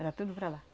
Era tudo para lá.